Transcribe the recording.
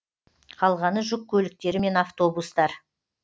қалғаны жүк көліктері мен автобустар